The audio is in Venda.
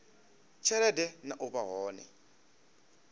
tshelede na u vha hone